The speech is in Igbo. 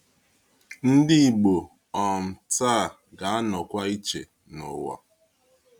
Ndị Ìgbò um taa ga-anọkwa iche na ụwa.